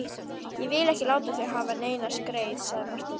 Ég vil ekki láta þig hafa neina skreið, sagði Marteinn.